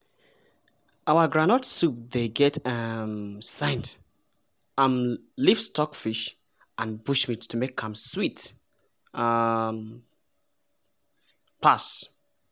our groundnut soup dey get um scent um leaf stockfish and bushmeat to make am sweet um pass!